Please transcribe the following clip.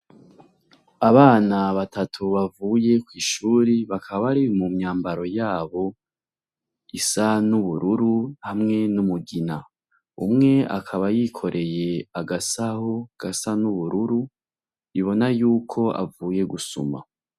abana batatu bavuye kwishuri bakaba bari mu myambaro yabo isa n'ubururu hamwe n'umugina umwe akaba yikoreye agasaho gasa n'ubururu ibona yuko avuye gusuma